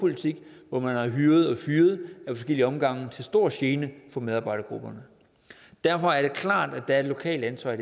politik hvor man har hyret og fyret ad flere omgange til stor gene for medarbejdergrupperne derfor er det klart at der er et lokalt ansvar i